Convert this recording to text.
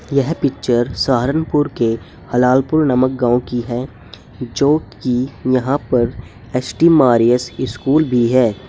यह पिक्चर सहारनपुर के हलालपुर नामक गांव की है जो कि यहां पर एस टी मारियस स्कूल भी है।